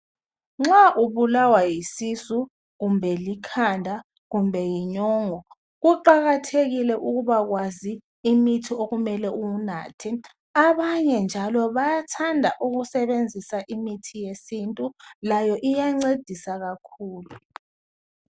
Nxa ubulawa yisisu kumbe likhanda kumbe yinyongo , kuqakathekile ukubakwazi umithi omele uwunathe abanye njalo bayathanda ukusebenzisa imithi yesintu layo iyancedisa kakhulu.